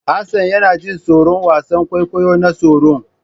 Hassan yana jin tsoron wasan kwaikwayon nan tsoron.